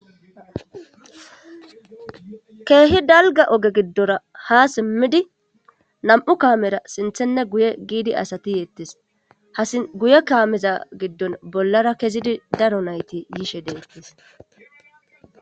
Keehi dalga oge giddora ha simmidi nam'u kaamera sinthenne guye giidi asati yeettes haguye kaameza giddon bollara kezidi daro nayti yiishe deettes.